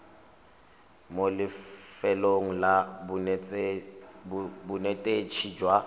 mo lefelong la bonetetshi jwa